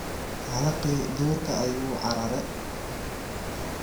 Halaqii duurka ayu uucarare.